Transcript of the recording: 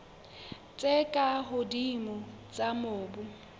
tse ka hodimo tsa mobu